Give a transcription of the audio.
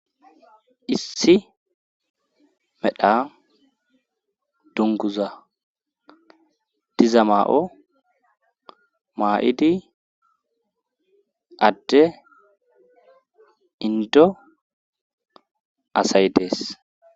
issi medha dunguza diza maa7o maa7idi adde indo asay dees